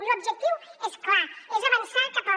l’objectiu és clar és avançar cap a